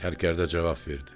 Sərkərdə cavab verdi.